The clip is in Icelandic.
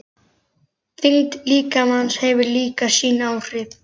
Þyngd líkamans hefur líka sín áhrif.